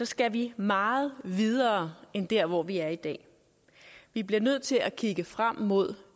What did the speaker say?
skal vi meget videre end dér hvor vi er i dag vi bliver nødt til at kigge frem mod